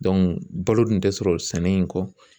balo dun tɛ sɔrɔ sɛnɛ in kɔ.